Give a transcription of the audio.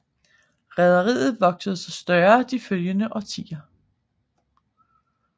Rederiet voksede sig større de følgende årtier